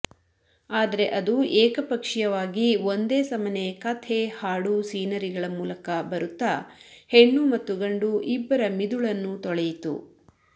ಆದರೆ ಅದು ಏಕಪಕ್ಷೀಯವಾಗಿ ಒಂದೇಸಮನೆ ಕಥೆ ಹಾಡು ಸೀನರಿಗಳ ಮೂಲಕ ಬರುತ್ತ ಹೆಣ್ಣು ಮತ್ತು ಗಂಡು ಇಬ್ಬರ ಮಿದುಳನ್ನೂ ತೊಳೆಯಿತು